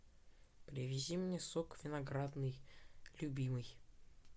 привези мне сок виноградный любимый